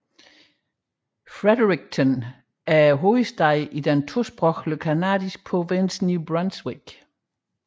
Fredericton er hovedstaden i den tosprogede canadiske provins New Brunswick